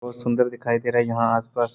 बहुत सुंदर दिखाई दे रहा है यहां आस-पास।